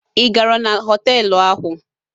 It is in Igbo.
Ị gara na họtelụ ahụ?